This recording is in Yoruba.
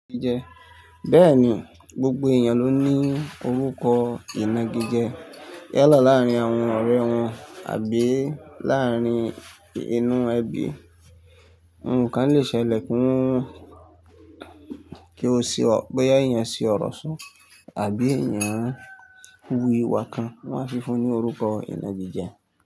Bẹ́ẹ̀ni, gbogbo èèyàn ló ní orúkọ ìnagíje yálà láàrin àwọn ọ̀rẹ́ wọn àbí láàrin inú ẹbí. Nnkan lè ṣẹlẹ̀ ki won kí o ṣe ọ boya eeyan sí ọ̀rọ̀ so àbí èèyàn wú ìwà kan, wọ́n á fi fún un ní orúkọ ìnagíje.